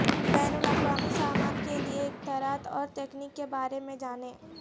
بین الاقوامی سامان کے لئے اختیارات اور تکنیک کے بارے میں جانیں